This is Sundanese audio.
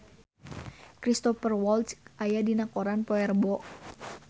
Cristhoper Waltz aya dina koran poe Rebo